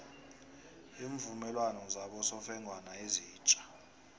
iimvumelwano zabosofengwana ezitja